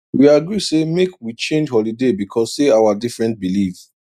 we agree say make we change holiday because say our different belief